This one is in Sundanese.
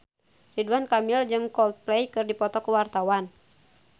Ridwan Kamil jeung Coldplay keur dipoto ku wartawan